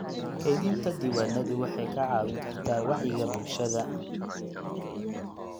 Kaydinta diiwaanadu waxay kaa caawin kartaa wacyiga bulshada.